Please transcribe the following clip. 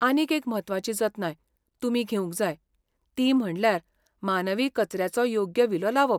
आनीक एक म्हत्वाची जतनाय तुमी घेवंक जाय, ती म्हणल्यार मानवी कचऱ्याचो योग्य विलो लावप.